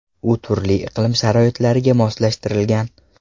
U turli iqlim sharoitlariga moslashtirilgan.